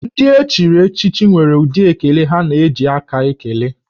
Ndị echiri echichi nwere ụdị ekele ha na-eji aka ekele